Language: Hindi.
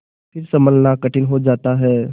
फिर सँभलना कठिन हो जाता है